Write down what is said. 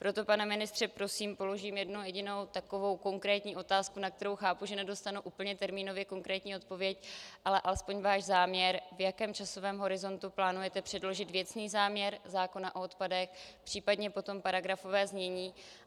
Proto, pane ministře, prosím, položím jednu jedinou takovou konkrétní otázku, na kterou chápu, že nedostanu úplně termínově konkrétní odpověď, ale alespoň váš záměr, v jakém časovém horizontu plánujete předložit věcný záměr zákona o odpadech, případně potom paragrafové znění.